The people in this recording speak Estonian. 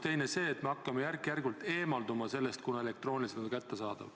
Teine on see, et me hakkame järk-järgult sellest eemalduma, kuna elektrooniliselt on nad kättesaadavad.